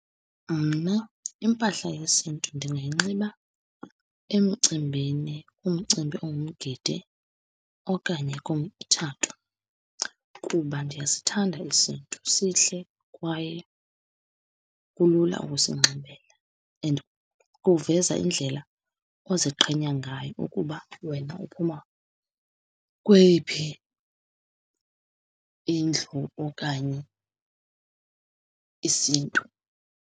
Mna, impahla yesiNtu ndingayinxiba emcimbini, umcimbi ongumgidi okanye kumtshato. Kuba ndiyasithanda isiNtu, sihle kwaye kulula ukusinxibela, and kuveza indlela oziqhenya ngayo ukuba wena uphuma kweyiphi indlu okanye isiNtu.